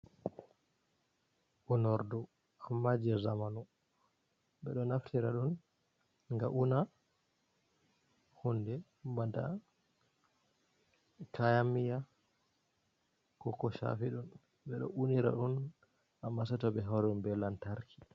Unordu amma je zamanu, ɓeɗo naftira dum ga una hunde bana kayan miya ko ko shafi ɗum, ɓe ɗo unira ɗum amma seto be hawri ɗum be lantarki.